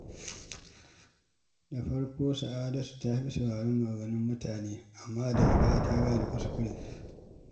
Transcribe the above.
Da farko, Sa’adatu ta fi sauraron maganganun mutane, amma daga baya ta gane kuskurenta.